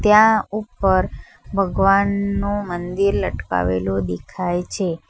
ત્યાં ઉપર ભગવાનનો મંદિર લટકાવેલો દેખાય છે.